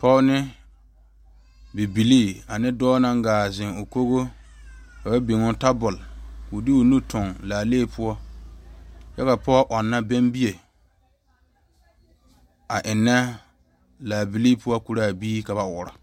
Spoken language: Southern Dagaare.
Pɔge ne bibile ane dɔɔ naŋ gaa zeŋ ne o kogi ka ba biŋe tabol poɔ kyɛ ka pɔge ɔnna bɛŋ bie a enna laa bibile poɔ koro a biiri ka ba ɔɔrɔ.